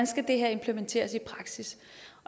skal implementeres i praksis